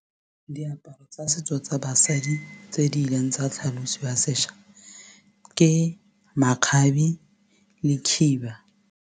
Diaparo tsa setso tsa basadi tse di ileng tsa tlhalosiwa sešwa ke makgabe le khiba.